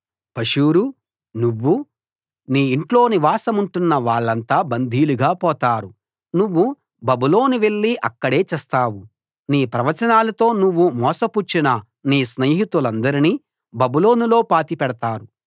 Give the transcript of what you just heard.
పషూరు నువ్వూ నీ ఇంట్లో నివాసముంటున్న వాళ్ళంతా బందీలుగా పోతారు నువ్వు బబులోను వెళ్లి అక్కడే చస్తావు నీ ప్రవచనాలతో నువ్వు మోసపుచ్చిన నీ స్నేహితులందరినీ బబులోనులో పాతిపెడతారు